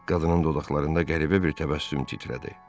Qadının dodaqlarında qəribə bir təbəssüm titrədi.